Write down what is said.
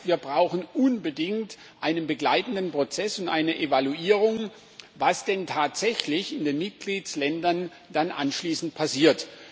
Das heißt, wir brauchen unbedingt einen begleitenden Prozess und eine Evaluierung, was denn tatsächlich in den Mitgliedsländern anschließend passiert.